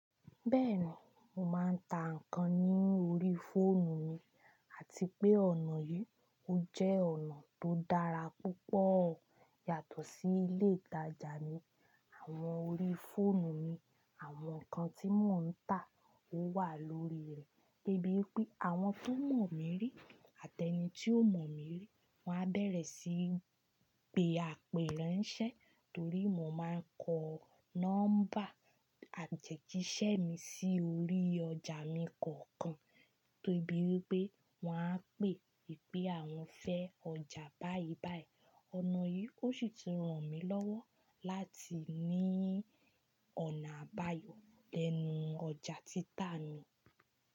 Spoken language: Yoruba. Bẹ́ẹ̀ni, mo máa ń ta nǹkan ní orí fóònù mi, àti pé ọ̀nà yìí ó jẹ́ ọ̀nà tó dára púpọ̀ yàtọ̀ sí ilé ìtajà mi. Àwọn orí fóònù mi, àwọn nǹkan tí mò ń tà ó wà lórí rẹ̀, de bíi pé àwọn tó mọ̀ mí rí àti ẹni tí ó mọ̀ mí rí, wọ́n á bẹ̀rẹ̀ síí gbé apẹ̀rẹ̀ ń ṣẹ, torí mo máa ń kọ nọ́mbà àteji ṣẹ́ mi sí orí ọjà mi kọ̀ọ̀kan, tó bíi pé wọ́n á pè ìpè àwọn fẹ́ ọjà báyìí báyìí. Ọ̀nà yìí ó sì ti ràn mí lọ́wọ́ láti ní ọ̀nà àbáyọ lẹ́nu ọjà títà mi.